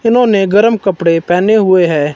जिन्होंने गर्म कपड़े पहने हुए हैं।